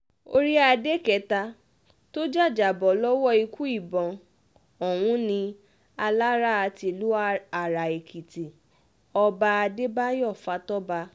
orí adé kẹta tó jàjàbọ́ lọ́wọ́ ikú ìbọn ọ̀hún ni alára tílu ara-èkìtì ọba adébáyò fatọ́ba